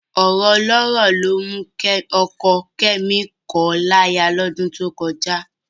Ọ̀rọ̀ ọlọ́rọ̀ ló mú ọkọ Kẹ́mi kọ̀ ọ́ láya lọ́dún tó kọjá